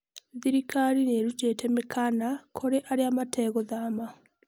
Thirikari nĩ ĩrutĩte mĩkana kũrĩ arĩa metegũthama.